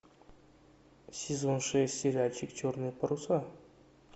сезон шесть сериальчик черные паруса